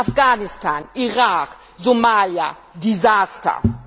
Afghanistan, Irak, Somalia Desaster!